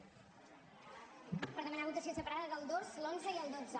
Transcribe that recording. per demanar votació separada del dos l’onze i el dotze